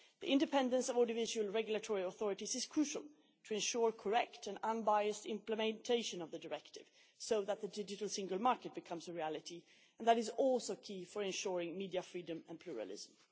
The independence of audiovisual regulatory authorities is crucial to ensure correct and unbiased implementation of the Directive so that the Digital Single Market becomes a reality, and that is also key for ensuring media freedom and pluralism.